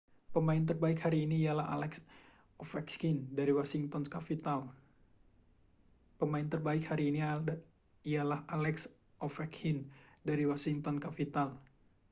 pemain terbaik hari ini ialah alex ovechkin dari washington capitals